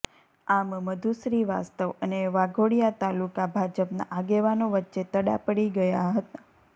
આમ મધુ શ્રીવાસ્તવ અને વાઘોડિયા તાલુકા ભાજપના આગેવાનો વચ્ચે તડા પડી ગયા હતા